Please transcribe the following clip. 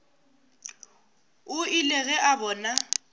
o ile ge a bona